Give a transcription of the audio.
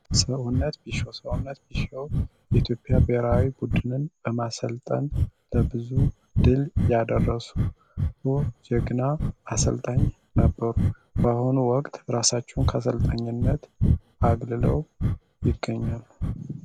ሰውነት ቢሸዎ ሰውነት ቢሺዎ የኢትዮፒያ በራዊ ቡድንን በማሰልጠን ለብዙ ድል ያደረሱ የግና አስልጠኝ ነበሩ በአሁኑ ወቅት ራሳችውን ከሰልጠኝነት አግልለው ይገኛሉ፡፡